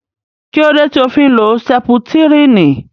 Kílódé tí o fi ń lo sẹputírínì